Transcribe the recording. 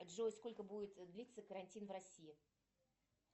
джой сколько будет длиться карантин в россии